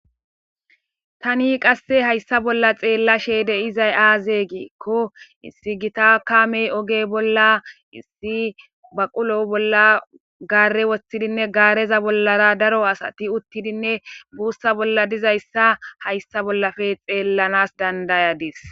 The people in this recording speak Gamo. tani qasse hayssa bolla xeella sheede izay aaze geekko issi gita kamey oge bolla issi baqulo bolla gaare woshtidinne gaareza bollara daro asati uttidinne buussa bolla dizayssa hayssa bollafe xeellanas dandayadis